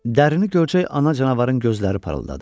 Dərini görcək ana canavarın gözləri parıldadı.